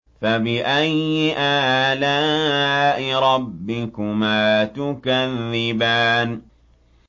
فَبِأَيِّ آلَاءِ رَبِّكُمَا تُكَذِّبَانِ